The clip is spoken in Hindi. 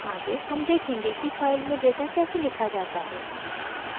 आगे हम देखेंगे कि फाइल में डेटा कैसे लिखा जाता है